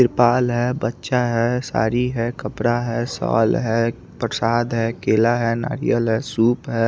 ट्रिपाल है बच्चा है साड़ी है कपड़ा है शॉल है प्रसाद है केला है नारयल है सूप है।